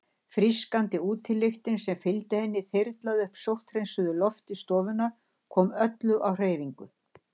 Frískandi útilyktin sem fylgdi henni þyrlaði upp sótthreinsuðu lofti stofunnar, kom öllu á hreyfingu.